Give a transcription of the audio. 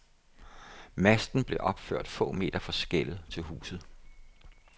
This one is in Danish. Masten blev opført få meter fra skellet til huset.